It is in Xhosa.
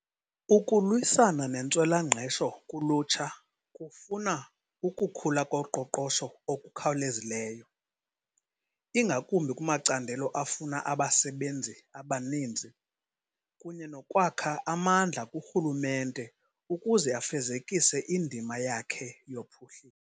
Ukulwisana nentswela-ngqesho kulutsha kufuna ukukhula koqoqosho okukhawulezileyo, ingakumbi kumacandelo afuna abasebenzi abaninzi, kunye nokwakha amandla kurhulumente ukuze afezekise indima yakhe yophuhliso.